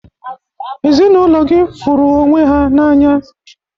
Ezinaụlọ gị fụrụ onwe ha n'anya